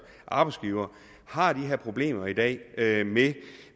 arbejdsgivere har de her problemer i dag